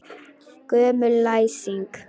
Gömul læsing.